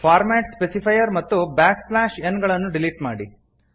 format specifier ಮತ್ತು backslash n ಗಳನ್ನು delete ಮಾಡಿ